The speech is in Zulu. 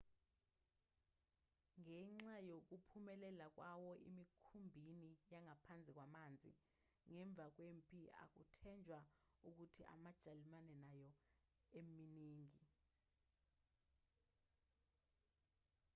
ngenxa yokuphumelela kwawo emikhumbini yangaphansi kwamanzi ngemva kwempi akuthenjwa ukuthi amajalimane anayo eminingi